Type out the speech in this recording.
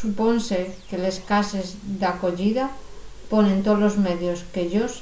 supónse que les cases d'acoyida ponen tolos medios que-yos